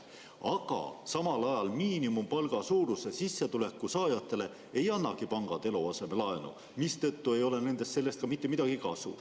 Aga samal ajal miinimumpalga suuruse sissetuleku saajatele ei annagi pangad eluasemelaenu, mistõttu ei ole sellest mitte midagi kasu.